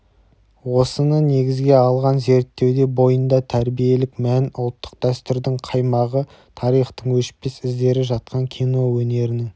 осыны негізге алған зерттеуде бойында тәрбиелік мән ұлттық дәстүрдің қаймағы тарихтың өшпес іздері жатқан кино өнерінің